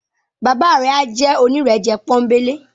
Baba rẹ a jẹ onírẹ̀jẹ̀ ponbele.